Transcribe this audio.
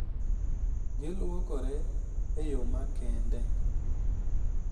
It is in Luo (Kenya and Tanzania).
Gilwokore e yo makende,